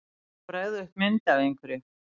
Að bregða upp mynd af einhverju